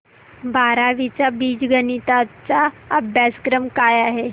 बारावी चा बीजगणिता चा अभ्यासक्रम काय आहे